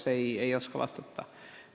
Ma ei oska kahjuks vastata.